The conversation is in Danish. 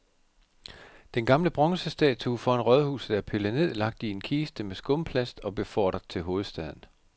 Den gamle bronzestatue foran rådhuset er pillet ned, lagt i en kiste med skumplast og befordret til hovedstaden.